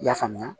I y'a faamuya